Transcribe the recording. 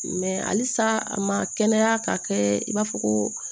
halisa a ma kɛnɛya ka kɛ i b'a fɔ ko